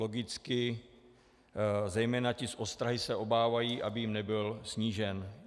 Logicky zejména ti z ostrahy se obávají, aby jim nebyl snížen.